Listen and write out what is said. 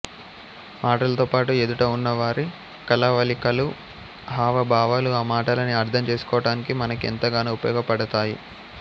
మాటలతో పాటు ఎదుట ఉన్న వారి కళవళికలు హావ భావాలు ఆ మాటలని అర్థం చేసుకోటానికి మనకి ఎంతగానో ఉపయోగపడతాయి